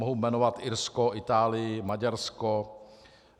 Mohu jmenovat Irsko, Itálii, Maďarsko.